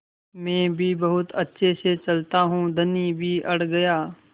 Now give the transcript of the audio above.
मैं भी बहुत अच्छे से चलता हूँ धनी भी अड़ गया